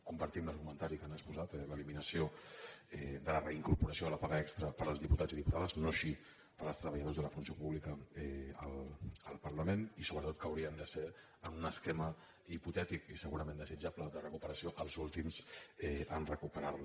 compartim l’argumentari que han exposat l’eliminació de la reincorporació de la paga extra per als diputats i diputades no així per als treballadores de la funció pública al parlament i sobretot que haurien de ser en un esquema hipotètic i segurament desitjable de recuperació els últims a recuperar la